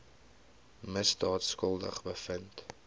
misdaad skuldig bevind